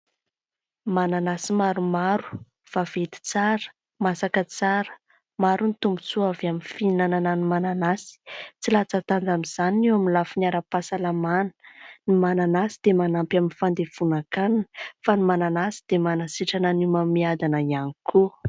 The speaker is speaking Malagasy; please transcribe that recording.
Mananasy maromaro, vaventy tsara, masaka tsara. Maro ny tombotsoa avy amin'ny fihinanana ny mananasy ; tsy latsa-danja amin'izany ny eo amin'ny lafiny ara-pahasalamana. Ny mananasy dia manampy amin'ny fandevonan-kanina, fa ny mananasy dia manasitrana n'y homamiadana ihany koa.